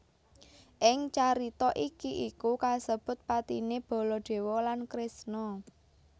Ing carita iki iku kasebut patine Baladewa lan Kresna